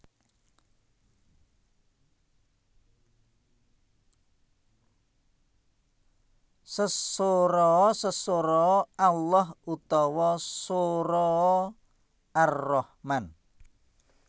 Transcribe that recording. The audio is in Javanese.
Sesoraa Sesoraa Allah utawa soraa Ar Rahman